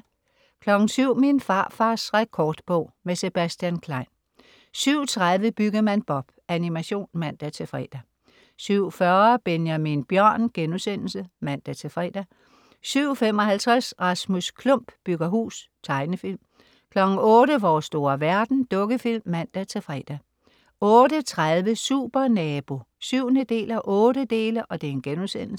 07.00 Min farfars rekordbog. Med Sebastian Klein 07.30 Byggemand Bob. Animation (man-fre) 07.40 Benjamin Bjørn*(man-fre) 07.55 Rasmus Klump bygger hus. Tegnefilm 08.00 Vores store verden. Dukkefilm (man-fre) 08.30 Supernabo 7:8*